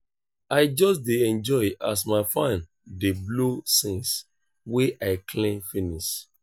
i just dey enjoy as my fan dey blow since wey i clean finish.